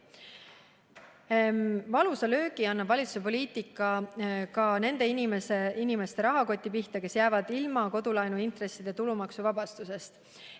Väidate, et valusa löögi annab valitsuse poliitika ka nende inimeste rahakoti pihta, kes jäävad ilma kodulaenu intresside tulumaksuvabastusest.